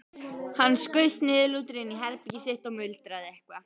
Hann skaust niðurlútur inn í herbergið sitt og muldraði eitthvað.